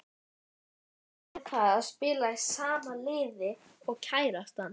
Hvernig er það að spila í sama liði og kærastan?